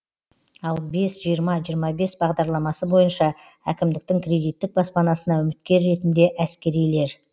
ал бес жиырма жиырма бес бағдарламасы бойынша әкімдіктің кредиттік баспанасына үміткер ретінде әскерилер